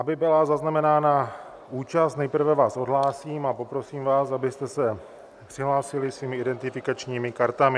Aby byla zaznamenána účast, nejprve vás odhlásím a poprosím vás, abyste se přihlásili svými identifikačními kartami.